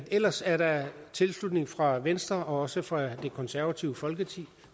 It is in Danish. ellers er der tilslutning fra venstre og også fra det konservative folkeparti